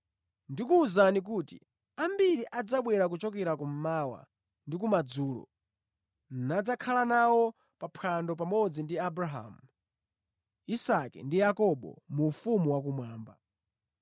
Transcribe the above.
Ndikuwuzani kuti ambiri adzabwera kuchokera kummawa ndi kumadzulo, nadzakhala nawo pa phwando pamodzi ndi Abrahamu, Isake ndi Yakobo mu ufumu wakumwamba.